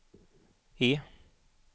E